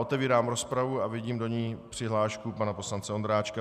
Otevírám rozpravu a vidím do ní přihlášku pana poslance Ondráčka.